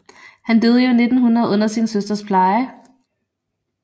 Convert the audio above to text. Han døde i år 1900 under sin søsters pleje